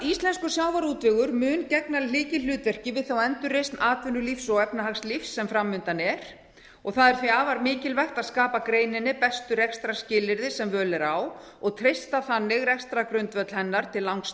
íslenskur sjávarútvegur mun gegna lykilhlutverki við þá endurreisn atvinnulífs og efnahagslífs sem fram undan er það er því afar mikilvægt að skapa greininni bestu rekstrarskilyrði sem völ er á og treysta þannig rekstrargrundvöll hennar til langs